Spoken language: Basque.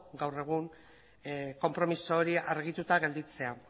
gaur egun konpromiso hori argituta geratzea